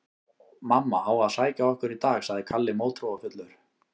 Mamma á að sækja okkur í dag, sagði Kalli mótþróafullur.